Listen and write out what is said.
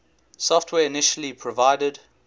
software initially provided